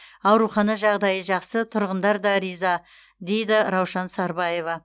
аурухана жағдайы жақсы тұрғындар да риза дейді раушан сарбаева